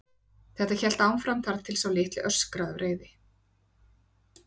Þetta hélt áfram þar til sá litli öskraði af reiði.